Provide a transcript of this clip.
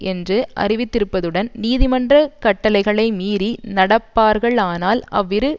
என்று அறிவித்திருப்பதுடன் நீதிமன்ற கட்டளைகளை மீறி நடப்பார்களானால் அவ்விரு